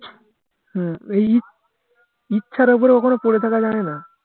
হুম এই ইচ্ছার ওপরে ওখানে পরে থাকা যায়না